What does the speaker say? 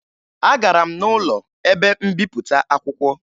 Agara m n'ụlọ ebe mbipụta akwụkwọ